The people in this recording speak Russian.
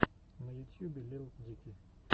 на ютьюбе лил дики